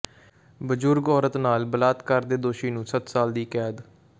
ਬਜ਼ੁਰਗ ਔਰਤ ਨਾਲ ਬਲਾਤਕਾਰ ਦੇ ਦੋਸ਼ੀ ਨੂੰ ਸੱਤ ਸਾਲ ਦੀ ਕੈਦ